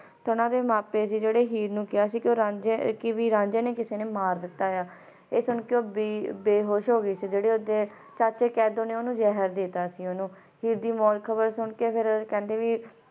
ਸਨ ਦੇ ਮੈ ਪਾਯੋ ਸੀ ਜਿਨ੍ਹਾਂ ਨੇ ਹੀਰ ਨੂੰ ਕਹਾ ਸੀ ਕ ਰਾਂਝੇ ਨੂੰ ਕਿਸੀ ਨੇ ਆਏ ਸੁਣਨ ਕ ਉਹ ਬੇਹੋਸ਼ ਤੇ ਤਦ ਕੈਦੂ ਨੇ ਉਸ ਨੂੰ ਜ਼ਹਿਰ ਦਿੱਤਾ ਸੀ ਤੇ ਉਡਦੀ ਮੌਟ ਦੀ ਖ਼ਬਰ ਸੁਨ ਕ